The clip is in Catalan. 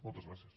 moltes gràcies